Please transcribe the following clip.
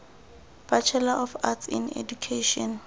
bachelor of arts in education